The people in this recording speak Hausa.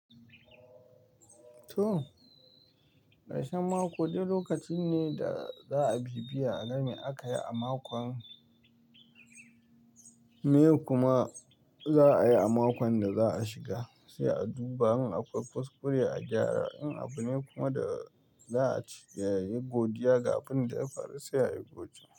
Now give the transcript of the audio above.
To, ƙarshen mako dak lokacin ne da za a bibbiya a game da aka yi a makon mai kuma za a yi a makon da za a shiga, sai a duba in akwai kuskure a gyara, in abu ne kuma da za a ci, ya yi godiya kafin da ya fara sai a yi godiya.